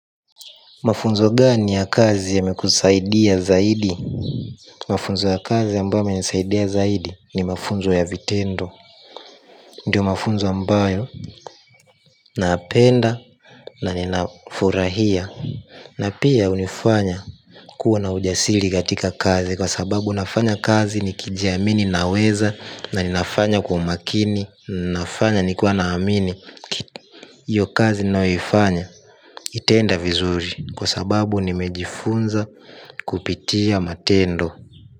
Mafunzo gani ya kazi yamekusaidia zaidi? Mafunzo ya kazi ambayo yamenisaidia zaidi ni mafunzo ya vitendo. Ndio mafunzo ambayo napenda na ninafurahia. Na pia hunifanya kuwa na ujasili katika kazi. Kwa sababu nafanya kazi ni kijiamini naweza. Na ninafanya kwa umakini ninafanya nikiwa naamini hio kazi ninayoifanya. Itaenda vizuri. Kwa sababu nimejifunza kupitia matendo.